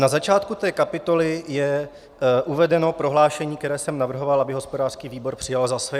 Na začátku té kapitoly je uvedeno prohlášení, které jsem navrhoval, aby hospodářský výbor přijal za své.